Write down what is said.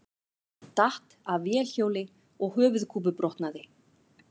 Datt af vélhjóli og höfuðkúpubrotnaði